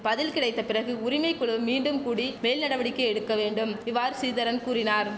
பதில் கிடைத்த பிறகு உரிமை குழு மீண்டும் கூடி மேல் நடவடிக்கை எடுக்க வேண்டும் இவ்வாறு ஸ்ரீதரன் கூறினார்